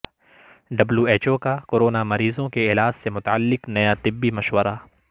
W H O کا corona مریضوں کے علاج سے متعلق نیا طبی مشورہ